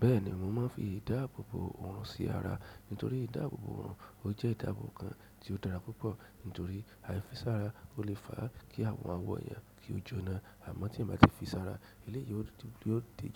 Bẹ́ẹ̀ni mo máa ń fi ìdáàbòbò òrùn sí ará nítorí ìdáàbòbò òrùn jẹ ìdáàbòbò kán tí odara púpọ̀ nítorí aifisara olè fàá ki àwọn awọ èèyàn kì o jóná amọ ti èèyàn bá tí fí sára eleyi